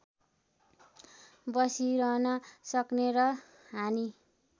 बसिरहन सक्ने र हानि